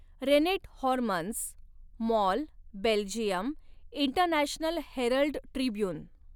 rennet Hormanns, Mol, Belgium, International Herald Tribhuvan